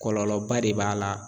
Kɔlɔlɔba de b'a la